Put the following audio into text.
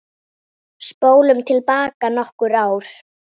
Spólum til baka nokkur ár.